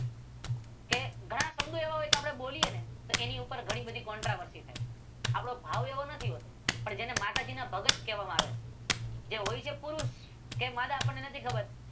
કે ઘણા શબ્દો એવા હોય આપદે બોલીએ ને એટલે એની ઉપર ઘણી બધી કોન્ટ્રાવર્ષી થાય. આપડો ભાવ એવો નથી હો તો પણ જેને માતાજીનાં ભગત કહેવામા આવે છે. જે હોય છે પુરુષ છે માદા જે આપણને નથી ખબર